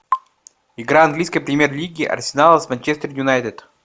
игра английской премьер лиги арсенала с манчестер юнайтед